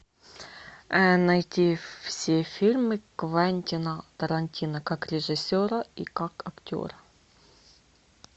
найти все фильмы квентина тарантино как режиссера и как актера